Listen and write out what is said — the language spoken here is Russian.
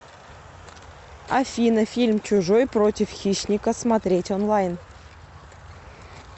афина фильм чужой против хищника смотреть онлайн